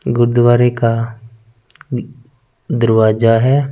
वो द्वारिका अः दरवाज़ा है।